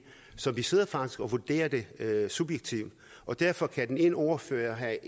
så vi sidder faktisk og vurderer det subjektivt og derfor kan den ene ordfører have